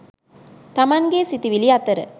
තමන්ගේ සිතිවිලි අතර